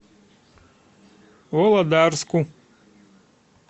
володарску